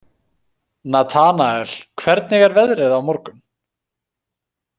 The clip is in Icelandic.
Natanael, hvernig er veðrið á morgun?